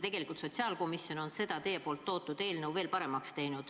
Tegelikult on sotsiaalkomisjon seda teie toodud eelnõu veel paremaks teinud.